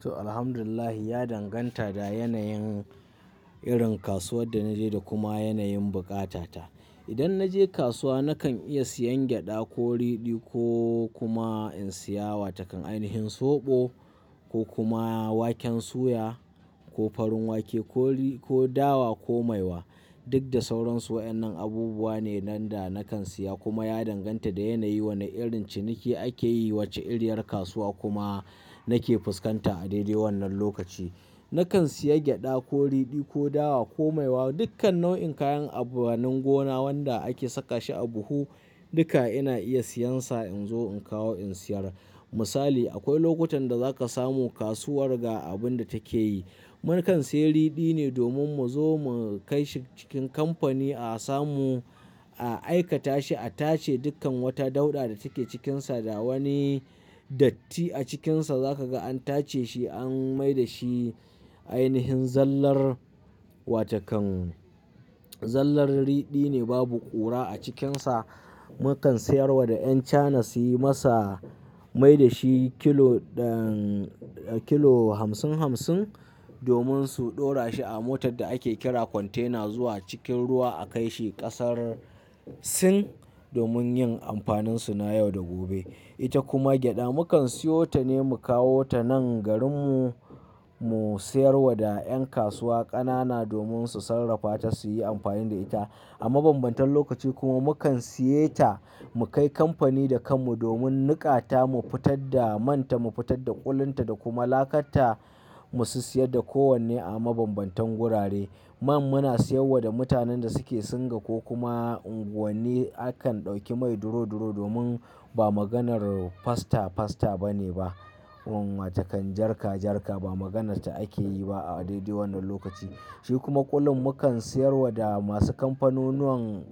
To, alhamdulillah ya danganta da yanayin irin kasuwar da naje da kuma yanayin buƙata. Idan naje kasuwa nakan iya siyan gyaɗa ko ridi ko kuma in siya wa takan ainihin soɓo ko kuma waken suya ko farin wake ko ri-- ko dawa ko maiwa. Duk da sauransu waɗannan abubuwa ne nan da nakan siya kuma ya danganta da yanayi wane irin ciniki ake yi, wace iriyar kasuwa kuma nake fuskanta a dai dai wannan lokaci. Nakan siya gyaɗa ko ridi ko dawa ko maiwa, dukkan nau'in kayan amfanin gona waɗanda ake saka shi a buhu duka ina iya siyansa in zo in kawo in siyar. Misali, akwai lokutan da zaka samu kasuwar ga abun da take yi. Mukan siya ridi ne domin mu zo mu kai shi cikin kamfani a samu a aikata shi, a tace dukkan wata dauɗa da take cikinsa da wani datti a cikinsa. Zaka ga an tace shi an mai da shi ainihin zallar wa takan. Zallar ridi ne babu ƙura a cikinsa. Mukan sayar wa da Yan Chana su yi masa, mai da shi kilo ɗan-- kilo hamsin hamsin domin su ɗora shi a motar da ake kira kwantena zuwa cikin ruwa a kai shi ƙasar Sin domin yin amfanin suna yau da gobe. Ita kuma gyaɗa mukan siyo ta ne mu kawo ta nan garinmu mu sayar wa da ƴan kasuwa ƙanana domin su sarrafa ta su yi amfani da ita. A mabambantan lokaci kuma mukan siya ta mu kai kamfani da kanmu domin niƙa ta mu fitar da man ta, mu fitar da ƙulan ta da kuma lakar ta mu su siyar da kowanne a mabambantan gurare. Man muna siyarwa da mutanen da suke singa ko kuma unguwanni. Akan ɗauki mai duro duro domin ba maganar fasta fasta ba ne ba. Wate kan jarka jarka ba maganarta ake yi ba a dai dai wannan lokaci. Shi kuma ƙulu mukan sayar wa da masu kamfanunuwan,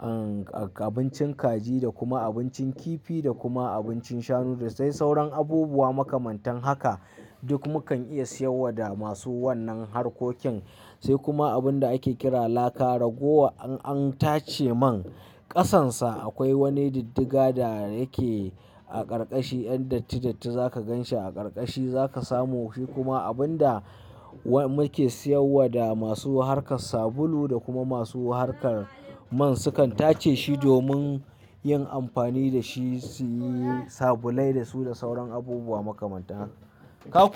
uhn, abincin kaji da kuma abincin kifi da kuma abincin shanu da sai sauran abubuwa makamantan haka. Duk mukan iya siyarwa da masu wannan harkokin. Sai kuma abin da ake kira laka. Ragowa an tace man, ƙasansa akwai wani diddiga da yake a ƙarƙashi. Yan datti datti za ka gan shi a ƙarƙashi za ka samu. Shi kuma abun da wa-- muke siyarwa da masu harkar sabulu da kuma masu harkar man. Sukan tace shi domin yin amfani da shi su yi sabulai da su da sauran abubuwa makamanta. Ka kuwa.